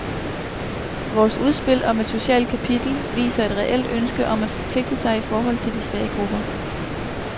Vores udspil om et socialt kapitel viser et reelt ønske om at forpligte sig i forhold til de svage grupper.